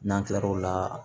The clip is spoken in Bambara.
N'an tilal'o la